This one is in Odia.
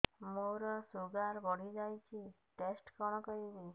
ମୋର ଶୁଗାର ବଢିଯାଇଛି ଟେଷ୍ଟ କଣ କରିବି